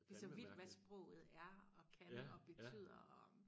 Det så vildt hvad sproget er og kan og betyder og